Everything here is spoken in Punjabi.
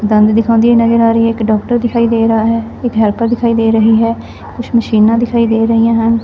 ਦੰਦ ਦਿਖਾਉਂਦੀ ਨਜ਼ਰ ਆ ਰਹੀ ਹੈ ਇੱਕ ਡਾਕਟਰ ਦਿਖਾਈ ਦੇ ਰਹਾ ਹੈ ਇੱਕ ਹੈਲਪਰ ਦਿਖਾਈ ਦੇ ਰਹੀ ਹੈ ਕੁਛ ਮਸ਼ੀਨਾ ਦਿਖਾਈ ਦੇ ਰਹੀਆਂ ਹਨ।